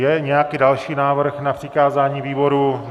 Je nějaký další návrh na přikázání výboru?